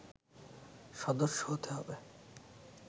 সদস্য হতে হবে